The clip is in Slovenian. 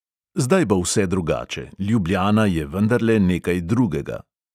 Zdaj bo vse drugače, ljubljana je vendarle nekaj drugega.